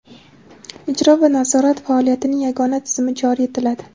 ijro va nazorat faoliyatining yagona tizimi joriy etiladi.